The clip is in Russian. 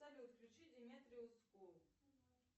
салют включи диметриус скул